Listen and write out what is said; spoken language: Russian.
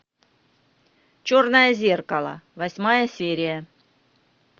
черное зеркало восьмая серия